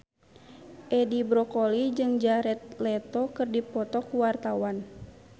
Edi Brokoli jeung Jared Leto keur dipoto ku wartawan